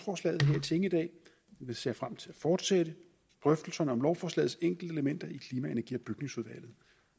jeg ser frem til at fortsætte drøftelserne om lovforslagets enkeltelementer i klima energi